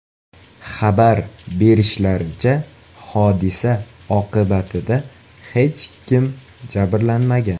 Xabar berishlaricha, hodisa oqibatida hech kim jabrlanmagan.